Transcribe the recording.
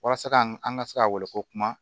Walasa ka an ka se ka wele ko kuma